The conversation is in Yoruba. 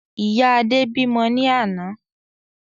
Ìyá Adé bímọ ní àná